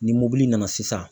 Ni mobili nana sisan.